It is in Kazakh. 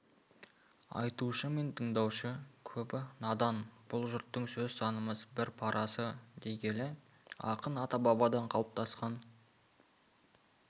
айтушы мен тыңдаушы көбі надан бұл жұрттың сөз танымас бір парасы дей келе ақын ата-бабадан қалыптасқан